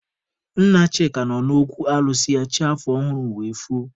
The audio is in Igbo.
Nna Chika nọ n'okwu alụsị ya chi afọ ọhụrụ wee foo.